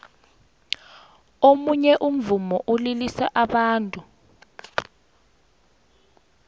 omunye umvumo ulilisa abantu